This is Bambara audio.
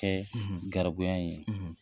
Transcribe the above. Kɛ garibuya ye.